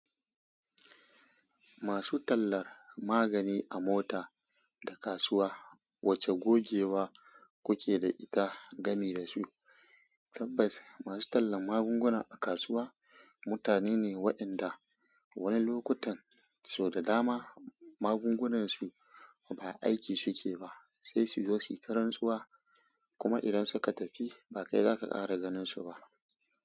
Masu tallar magani a mota da kasuwa, wace gogewa kuke da ita game da su? Tabbas, masu tallan magunguna a kasuwa mutane ne waɗanda wani lokutan sau da dama magungunan su ba aiki suke ba, sai su zo su yi ta rantsuwa. Kuma idan suka tafi, ba kai zaka ƙara ganin su ba.